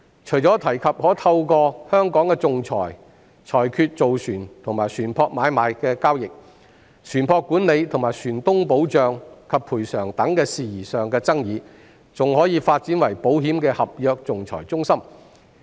除了可透過香港的仲裁裁決造船和船舶買賣的交易、船舶管理和船東保障及賠償等事宜上的爭議，還可以發展為保險的合約仲裁中心。